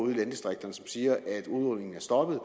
i landdistrikterne som siger at udrulningen er stoppet